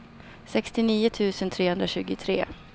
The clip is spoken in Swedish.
sextionio tusen trehundratjugotre